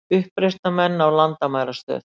Uppreisnarmenn ná landamærastöð